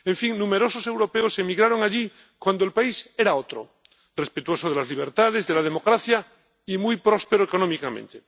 en fin, numerosos europeos emigraron allí cuando el país era otro respetuoso de las libertades, de la democracia y muy próspero económicamente.